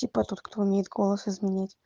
типа тот кто умеет голос изменять